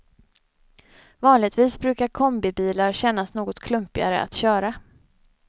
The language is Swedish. Vanligtvis brukar kombibilar kännas något klumpigare att köra.